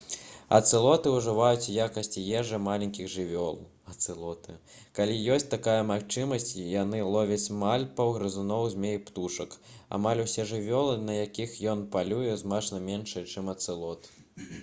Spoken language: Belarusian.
ацэлоты ўжываюць у якасці ежы маленькіх жывёл калі ёсць такая магчымасць яны ловяць малпаў грызуноў змей і птушак амаль усе жывёлы на якіх ён палюе значна меншыя чым ацэлот